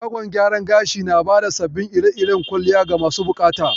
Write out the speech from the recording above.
Shagon gyaron gashi nabada zaɓin ire iren kwalliya ga masu buƙata